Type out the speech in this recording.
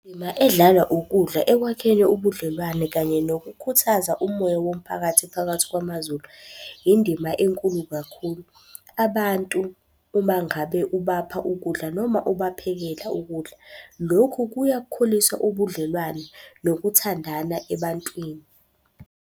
Indima edlalwa ukudla ekwakheni ubudlelwane kanye nokukhuthaza umoya womphakathi phakathi kwamaZulu, indima enkulu kakhulu. Abantu uma ngabe ubapha ukudla noma ubaphekela ukudla, lokhu kuyakhulisa ubudlelwane nokuthandana ebantwini.